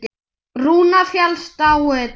Rúnar fellst á þetta.